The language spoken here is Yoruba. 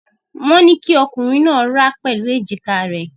Wọ́n ní kí ọkùnrin náà rá pẹ̀lú èjìká rẹ̀.